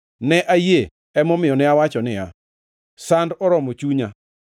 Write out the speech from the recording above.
Ne ayie; emomiyo ne awacho niya, “Sand oromo chunya.”